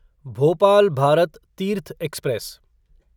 Bhopal Bharat Tirth express